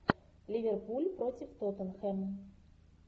ливерпуль против тоттенхэм